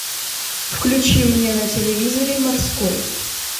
включи мне на телевизоре морской